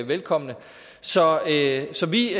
velkommen så så vi